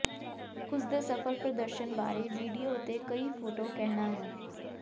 ਉਸ ਦੇ ਸਫਲ ਪ੍ਰਦਰਸ਼ਨ ਬਾਰੇ ਵੀਡੀਓ ਅਤੇ ਕਈ ਫੋਟੋ ਕਹਿਣਾ ਹੈ